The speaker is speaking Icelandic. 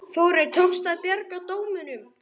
Þórir: Tókst að bjarga dómunum?